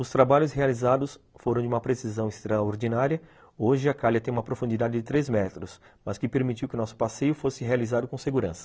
Os trabalhos realizados foram de uma precisão extraordinária, hoje a calha tem uma profundidade de três metros, mas que permitiu que nosso passeio fosse realizado com segurança.